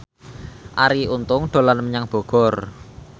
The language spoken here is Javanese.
Arie Untung dolan menyang Bogor